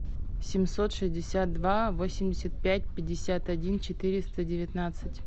семьсот шестьдесят два восемьдесят пять пятьдесят один четыреста девятнадцать